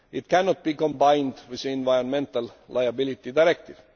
It cannot be combined with the Environmental Liability Directive.